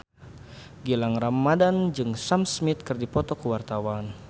Gilang Ramadan jeung Sam Smith keur dipoto ku wartawan